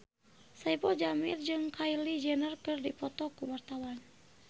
Saipul Jamil jeung Kylie Jenner keur dipoto ku wartawan